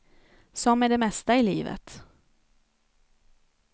Som med det mesta i livet.